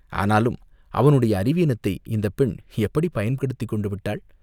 ஆனாலும் அவனுடைய அறிவீனத்தை இந்தப் பெண் எப்படிப் பயன்படுத்திக் கொண்டு விட்டாள்!